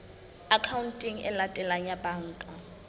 akhaonteng e latelang ya banka